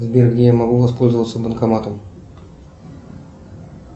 сбер где я могу воспользоваться банкоматом